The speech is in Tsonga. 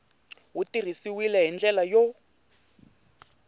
wu tirhisiwile hi ndlela yo